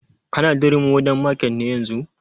Ka na durumi modern market ne yanzun?